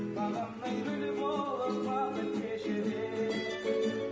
бағымның гүлі болып бақыт кеше бер